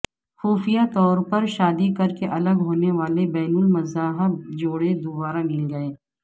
خفیہ طور پر شادی کرکے الگ ہونے والے بین المذاہب جوڑے دوبارہ مل گئے